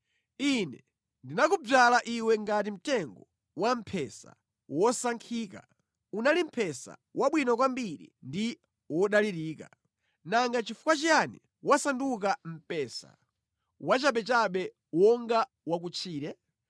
Ine ndinakudzala iwe ngati mtengo wampesa wosankhika; unali mpesa wabwino kwambiri ndi wodalirika. Nanga nʼchifukwa chiyani wasanduka mpesa wachabechabe wonga wa kutchire?